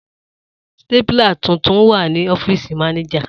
Stapler tuntun wa ni ọfiisi Manager.